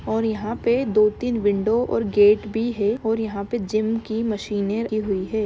और यहाँ पे दो तीन विंडो और गेट भी है और यहाँ पे जिम की मशीन रखी हुई है।